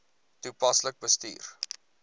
toepaslik bestuur